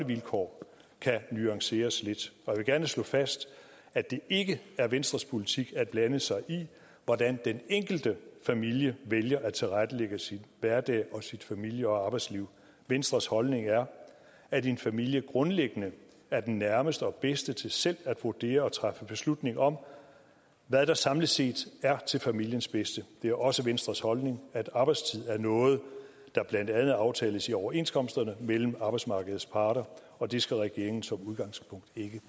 vilkår kan nuanceres lidt jeg vil gerne slå fast at det ikke er venstres politik at blande sig i hvordan den enkelte familie vælger at tilrettelægge sin hverdag og sit familie og arbejdsliv venstres holdning er at en familie grundlæggende er den nærmeste og den bedste til selv at vurdere og træffe beslutning om hvad der samlet set er til familiens bedste det er også venstres holdning at arbejdstid er noget der blandt andet aftales i overenskomsterne mellem arbejdsmarkedets parter og det skal regeringen som udgangspunkt ikke